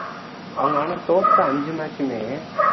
அவங்க ஆனா தோத்த அஞ்சு match மே